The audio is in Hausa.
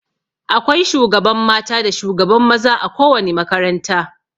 Akwai shugaban mata da shugaban maza a ko wani makaranta.